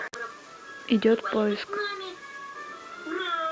идет поиск